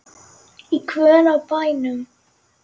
Í guðanna bænum.